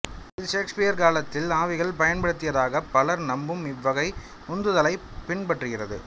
இது ஷேக்ஸ்பியரின் காலத்தில் ஆவிகள் பயன்படுத்தியதாகப் பலர் நம்பும் இவ்வகை உந்துதலைப் பின்பற்றுகிறது